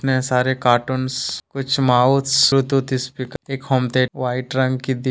इतने सारे कार्टूंस कुछ माउस ब्लूटूथ स्पीकर एक होम थिएटर वाइट रंग की दीवार--